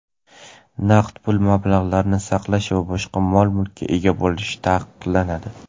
naqd pul mablag‘larini saqlash va boshqa mol-mulkka ega bo‘lish taqiqlanadi.